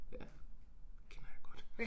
Ja kender jeg godt